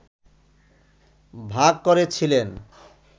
ভাগ করেছিলেন